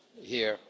here.